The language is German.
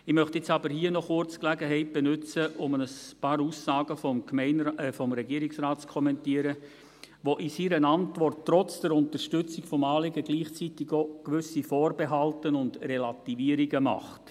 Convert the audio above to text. Jetzt möchte ich aber hier noch kurz die Gelegenheit nutzen, um ein paar Aussagen des Regierungsrates zu kommentieren, der in seiner Antwort trotz der Unterstützung des Anliegens gleichzeitig auch gewisse Vorbehalte und Relativierungen macht.